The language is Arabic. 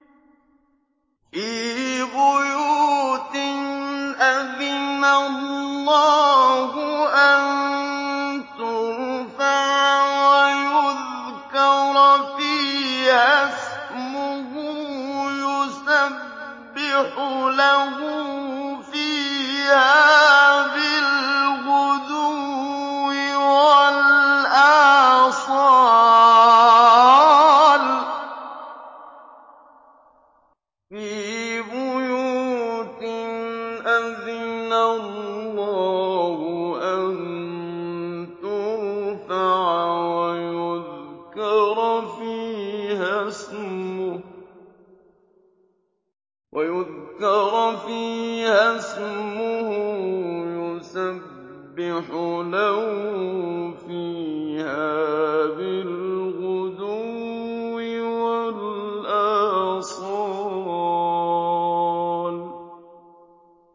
فِي بُيُوتٍ أَذِنَ اللَّهُ أَن تُرْفَعَ وَيُذْكَرَ فِيهَا اسْمُهُ يُسَبِّحُ لَهُ فِيهَا بِالْغُدُوِّ وَالْآصَالِ